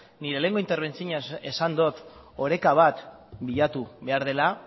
nire lehenengo interbentzioan esan dut oreka bat bilatu behar dela